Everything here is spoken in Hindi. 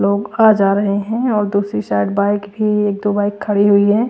लोग आ जा रहे हैं और दूसरी साइड बाइक भी एक दो बाइक खड़ी हुई हैं।